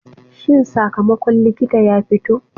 Shin sakamakon likita ya fito?